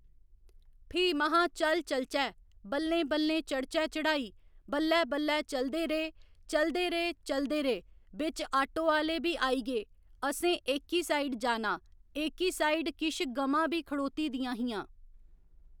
फ्ही महां चल चलचै बल्लें बल्लें चढ़चै चढ़ाई बल्लै बल्लै चलदे रेह् चलदे रेह् चलदे रेह् बिच्च आटो आह्‌ले बी आई गे असें एह्‌की साईड जाना एह्‌की साईड किश गमां बी खड़ोती दियां हियां